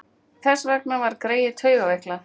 Þess vegna var greyið taugaveiklað.